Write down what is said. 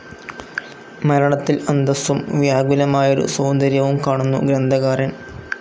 മരണത്തിൽ അന്തസ്സും വ്യാകുലമായൊരു സൗന്ദര്യവും കാണുന്നു ഗ്രന്ഥകാരൻ.